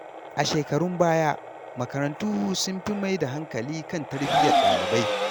A shekarun baya, makarantu sun fi mai da hankali kan tarbiyyar ɗalibai.